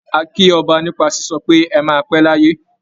A kí ọba nípa sísọ pé "ẹ máa pé láyé".